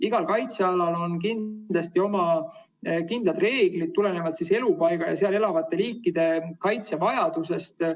Igal kaitsealal on oma kindlad reeglid, tulenevalt elupaiga ja seal elavate liikide kaitse vajadusest.